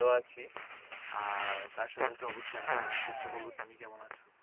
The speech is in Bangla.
আর তার সঙ্গে অবশ্যই জানার চেষ্টা করব। তুমি কেমন আছো?